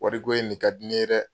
Wariko in de ka di ne ye dɛ!